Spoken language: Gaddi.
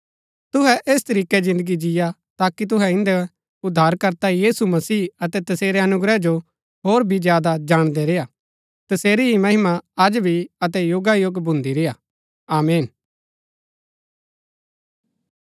तुहै ऐस तरीकै जिन्दगी जिय्आ ताकि तुहै इन्दै उद्धारकर्ता यीशु मसीह अतै तसेरै अनुग्रह जो होर भी ज्यादा जाणदै रेय्आ तसेरी ही महिमा अज भी अतै युगायुग भुन्दी रेय्आ आमीन